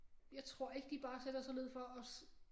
Jeg tror ikke de bare sætter sig ned for også